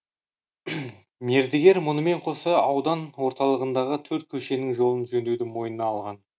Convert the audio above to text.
мердігер мұнымен қоса аудан орталығындағы төрт көшенің жолын жөндеуді мойнына алған